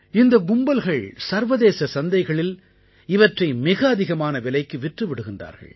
இந்தக் கும்பல்கள் சர்வதேச சந்தைகளில் இவற்றை மிக அதிகமான விலைக்கு விற்று விடுகின்றார்கள்